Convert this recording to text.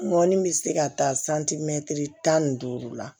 N ŋɔni bɛ se ka taa santimɛtiri tan ni duuru la